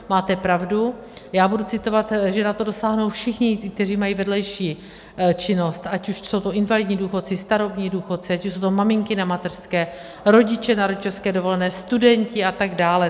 Máte pravdu, já budu citovat, že na to dosáhnou všichni ti, kteří mají vedlejší činnost, ať už jsou to invalidní důchodci, starobní důchodci, ať už jsou to maminky na mateřské, rodiče na rodičovské dovolené, studenti atd.